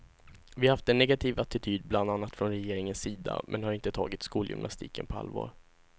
Vi har haft en negativ attityd bland annat från regeringens sida, man har inte tagit skolgymnastiken på allvar.